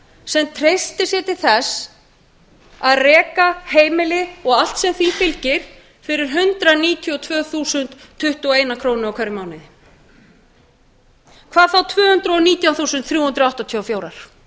sem treystir sér til þess að reka heimili og allt sem því fylgir fyrir hundrað níutíu og tvö þúsund tuttugu og eina krónu í hverjum mánuði hvað með tvö hundruð og nítján þúsund þrjú hundruð áttatíu og fjórar krónur